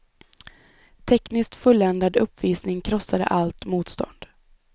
Tekniskt fulländad uppvisning krossade allt motstånd.